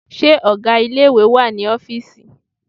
Ṣé ọgá ilé ìwé wà ní ọ́fìísì?